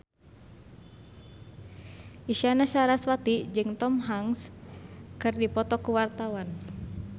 Isyana Sarasvati jeung Tom Hanks keur dipoto ku wartawan